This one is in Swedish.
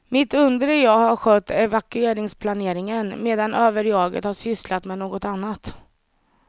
Mitt undre jag har skött evakueringsplaneringen medan överjaget har sysslat med något annat.